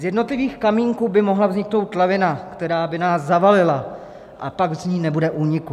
Z jednotlivých kamínků by mohla vniknout lavina, která by nás zavalila, a pak z ní nebude úniku.